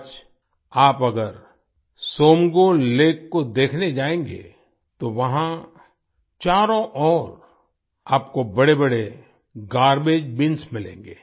आज आप अगर त्सोमगो सोमगो लेक को देखने जाएंगे तो वहां चारों ओर आपको बड़ेबड़े गार्बेज बिन्स मिलेंगे